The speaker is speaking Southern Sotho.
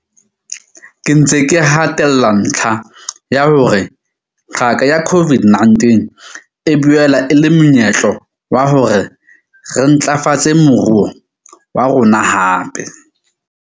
Ke ntse ke hatella ntlha ya hore qaka ya COVID-19 e boela e le monyetlo wa hore re ntlafatse moruo wa rona hape.